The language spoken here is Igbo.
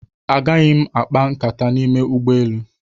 Agaghị m akpa nkata n'ime ụgbọelu.